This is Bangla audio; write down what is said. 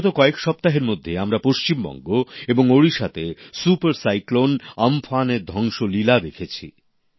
বিগত কয়েক সপ্তাহের মধ্যে আমরা পশ্চিমবঙ্গ এবং ওড়িশাতে সুপার সাইক্লোন আম্ফানের ধ্বংসলীলা দেখেছি